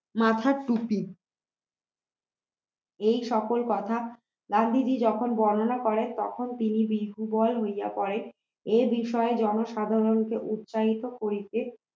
মাথার টুপি এই সকল কথা গান্ধীজী যখন বর্ণনা করেন তখন তিনি বিহুবল হইয়া পড়েন এই বিষয়ে জনসাধারণকে উৎসাহিত করিতে